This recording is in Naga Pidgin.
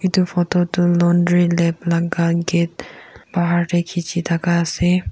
itu photo du laundry lab laga gate bahar tey kichi thaka ase.